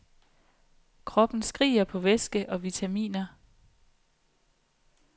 Kroppen skriger på væske og vitaminer.